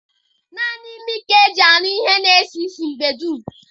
Nanị imi ka-aga eji anụ ihe na esi isi mgbe dum.